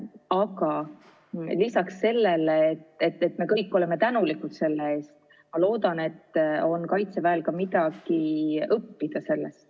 Aga lisaks sellele, et me kõik oleme selle eest tänulikud, ma loodan, et Kaitseväel on sellest ka midagi õppida.